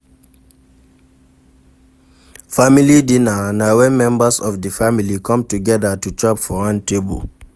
Family dinner na when members of di family come together to chop for one table